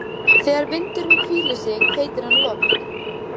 Þegar vindurinn hvílir sig heitir hann logn.